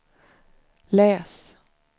läs